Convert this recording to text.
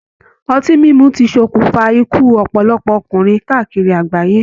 Ọtí mímu ti sọkún fa ikú ọpọlọpọ ọkùnrin káàkiri àgbáyé.